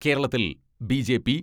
കേരളത്തിൽ ബി.ജെ.പി.